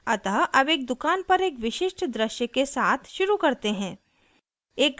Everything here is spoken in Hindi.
अतः अब एक दुकान पर एक विशिष्ट दृश्य के साथ शुरू करते हैं